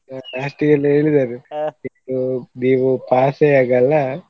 Last ಗೆಲ್ಲಾ ಹೇಳಿದ್ದಾರೆ ನೀವು pass ಏ ಆಗಲ್ಲಾ.